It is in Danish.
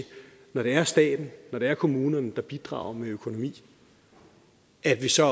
når det er staten når det er kommunerne der bidrager med økonomi at vi så